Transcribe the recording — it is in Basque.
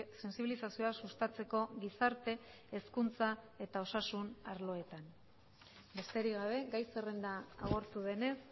sentsibilizazioa sustatzeko gizarte hezkuntza eta osasun arloetan besterik gabe gai zerrenda agortu denez